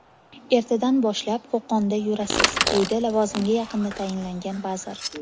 Ertadan boshlab Qo‘qonda yurasiz”, deydi lavozimga yaqinda tayinlangan vazir.